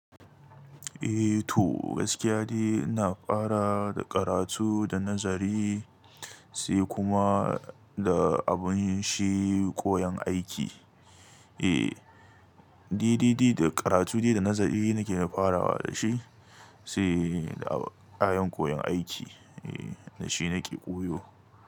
Eh to gaskiya dai ina fara da karatu da nazari sai kuma da abun shi koyon aiki. Eh, dai dai dai da karatu dai da nazari nake ni farawa da shi saida shi nake koyon aiki sa dashi nake koyo.